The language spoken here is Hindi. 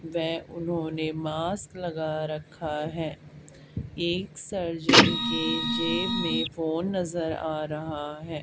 वे उन्होंने मास्क लगा रखा है एक सर्जन के जेब मे फोन नजर आ रहा है।